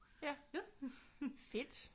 Ja. Fedt!